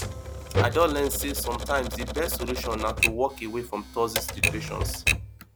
i don learn say sometimes di best solution na to walk away from toxic situations